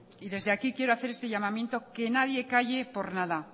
y desde aquí quiero hacer este llamamiento que nadie calle por nada